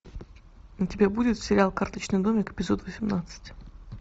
у тебя будет сериал карточный домик эпизод восемнадцать